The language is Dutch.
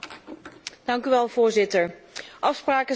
Voorzitter, afspraken zijn afspraken.